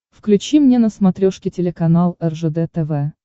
включи мне на смотрешке телеканал ржд тв